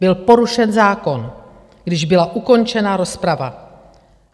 Byl porušen zákon, když byla ukončena rozprava.